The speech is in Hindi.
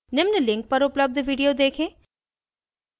निम्न link पर उपलब्ध video देखें